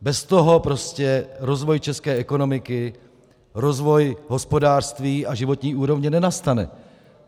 Bez toho prostě rozvoj české ekonomiky, rozvoj hospodářství a životní úrovně nenastane.